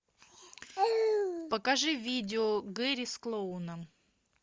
покажи видео гэри с клоуном